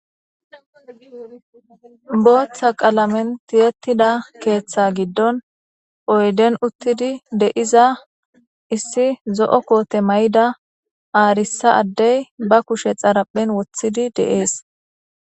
Booththa qalamen tiyettida keeththa giddon oyden uttidi deiza issi zo'o koote may'ida aarissa addey ba kushe xaraphen wothidi deees